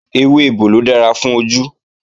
Ewé ebòlò dára fún ojú